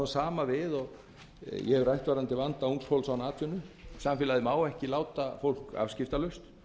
sama við og ég hef rætt varðandi vanda ungs fólks án atvinnu samfélagið má ekki láta þetta unga fólk afskiptalaust